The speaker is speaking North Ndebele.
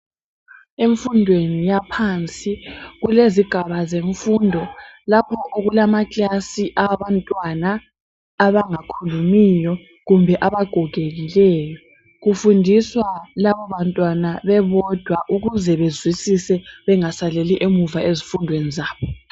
Emfundweni yaphansi kulezigaba zemfundo lapho okulama "class" awabantwana abangakhulumiyo, kumbe abagogekileyo. Kufundiswa labo bantwana bebodwa ukuze bezwisise bengasaleli emuva ezifundweni zabo.